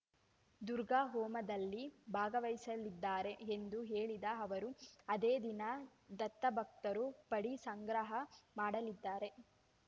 ದುರ್ಗ ಹೋಮದಲ್ಲಿ ಭಾಗವಹಿಸಲಿದ್ದಾರೆ ಎಂದು ಹೇಳಿದ ಅವರು ಅದೇ ದಿನ ದತ್ತಭಕ್ತರು ಪಡಿ ಸಂಗ್ರಹ ಮಾಡಲಿದ್ದಾರೆ